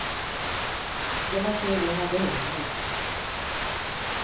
Så det var tur vi hade humor.